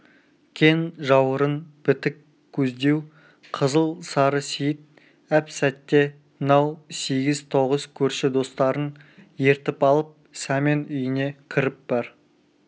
кең жауырын бітік көздеу қызыл сары сейіт әп-сәтте мынау сегіз-тоғыз көрші достарын ертіп алып сәмен үйіне кіріп бар